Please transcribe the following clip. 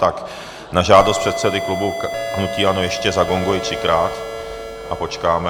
Tak na žádost předsedy klubu hnutí ANO ještě zagonguji třikrát a počkáme.